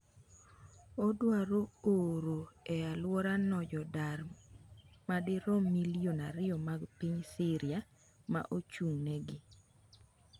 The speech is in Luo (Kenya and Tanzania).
Odwaro oro e alworano jodar madirom milion ariyo mag piny Syria ma ochung’negi.